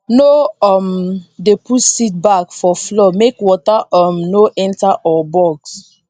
no um dey put seed bag for floor make water um no enter or bugs